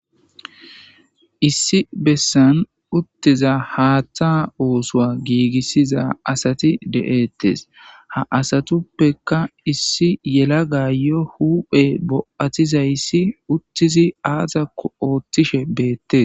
Issi bessan uttiza haaththa oosowa giigissiza asati de'ettes ha asatuppeka issi yelaga yo huphe bo'atizayssi uttizi aazakko oothtishe beettes.